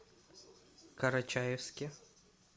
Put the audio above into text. карачаевске